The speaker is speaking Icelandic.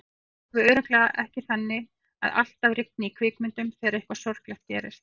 Það er alveg örugglega ekki þannig að alltaf rigni í kvikmyndum þegar eitthvað sorglegt gerist.